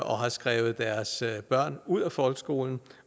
og har taget deres børn ud af folkeskolen